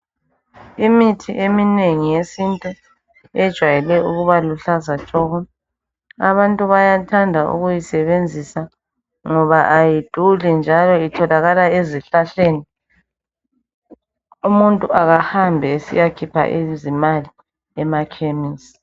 Imithi eminengi yesintu ejwayele ukuba luhlaza tshoko. Abantu bayathanda ukuyisebenzisa ngoba ayiduli njalo itholakala ezihlahleni. Umuntu akahambi esiyakhipha izimali emakhemisi.